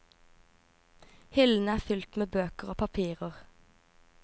Hyllene er fylt med bøker og papirer.